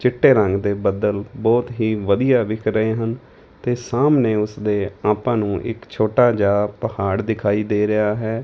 ਚਿੱਟੇ ਰੰਗ ਦੇ ਬੱਦਲ ਬਹੁਤ ਹੀ ਵਧੀਆ ਵਿਖ ਰਹੇ ਹਨ ਤੇ ਸਾਹਮਣੇ ਉਸਦੇ ਆਪਾਂ ਨੂੰ ਇੱਕ ਛੋਟਾ ਜਿਹਾ ਪਹਾੜ ਦਿਖਾਈ ਦੇ ਰਿਹਾ ਹੈ।